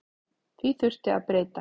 Því þurfi að breyta.